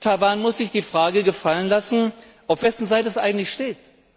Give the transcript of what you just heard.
Taiwan muss sich die Frage gefallen lassen, auf wessen Seite es eigentlich steht.